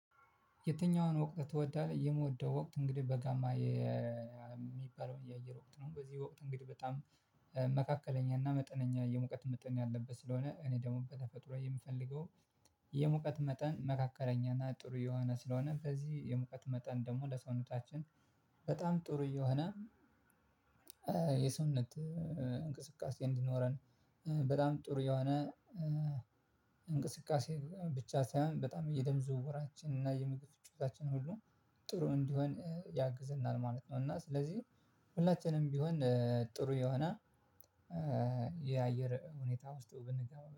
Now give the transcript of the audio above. የትኛውን ወቅት ትወዳለህ? የምወደው ወቅት እንግዲህ በጋማ የሚባለው የአየር ወቅት ነው። በዚህ ወቅት እንግዲህ በጣም መካከለኛ እና መጠነኛ የሙቀት መጠን ያለበት ስለሆነ እኔ ደግሞ በተፈጥሮ የምፈልገው የሙቀት መጠን መካከለኛና ጥሩ የሆነ ስለሆነ በዚህ የሙቀት መጠን ደግሞ ለሰውነታችን በጣም ጥሩ የሆነ የሰውነት እንቅስቃሴ እንዲኖረን በጣም ጥሩ የሆነ እንቅስቃሴ ብቻ ሳይሆን በጣም የደም ዝውውራችን እና የምግብ ፍጮታችን ሁሉ ጥሩ እንዲሆን ያግዘናል ማለት ነው። እና ስለዚህ ሁላችንም ቢሆን ጥሩ የሆነ የአየር ሁኔታ ውስጥ ብንገባ